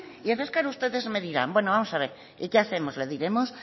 y entonces ustedes me dirán bueno vamos a ver y qué hacemos